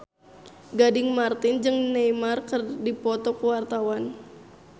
Gading Marten jeung Neymar keur dipoto ku wartawan